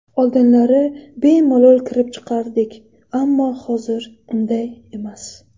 Oldinlari bemalol kirib chiqardik, ammo hozir unday emas.